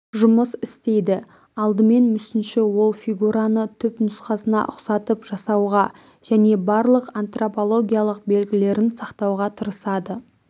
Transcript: жұмыс істейді алдымен мүсінші ол фигураны түпнұсқасына ұқсатып жасауға және барлық антропологиялық белгілерін сақтауға тырысады